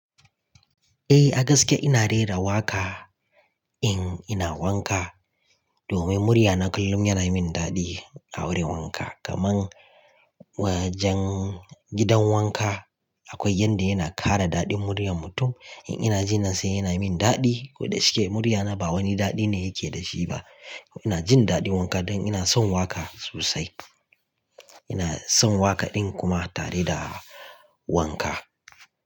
Eh a gaske ina rera waƙa in ina wanka domin murya na kullum yana min daɗi a wurin wanka. Kaman wajen gidan wanka akwai yanda yana ƙara daɗi muryan mutum. In ina ji nan sai yana min daɗi koda shike murya na ba wani daɗi ne yake da shi ba. Ina jin daɗin wanka don ina son waƙa sosai. Ina son waƙa ɗin kuma tare da wanka.